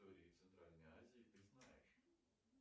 центральной азии ты знаешь